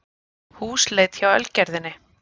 Húsleit hjá Ölgerðinni